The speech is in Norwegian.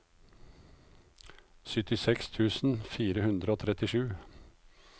syttiseks tusen fire hundre og trettisju